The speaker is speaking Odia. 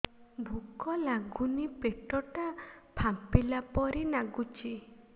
ଭୁକ ଲାଗୁନି ପେଟ ଟା ଫାମ୍ପିଲା ପରି ନାଗୁଚି